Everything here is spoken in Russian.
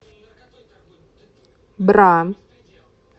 бра